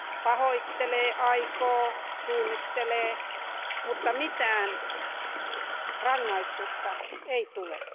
Pahoittelee, aikoo, suunnittelee, mutta mitään rangaistusta ei tule.